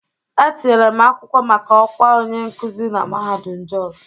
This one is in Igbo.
Etinyere m akwụkwọ maka ọkwa onye nkuzi na mahadum Jos